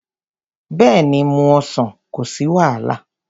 Bẹ́ẹ̀ni, mú ọsàn, kò sí wàhálà.